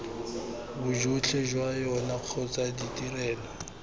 bojotlhe jwa yona kgotsa ditrelo